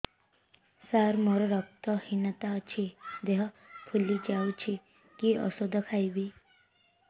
ସାର ମୋର ରକ୍ତ ହିନତା ଅଛି ଦେହ ଫୁଲି ଯାଉଛି କି ଓଷଦ ଖାଇବି